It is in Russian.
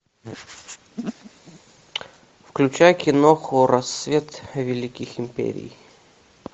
включай киноху рассвет великих империй